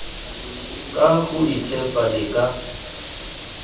ka go itshepa le ka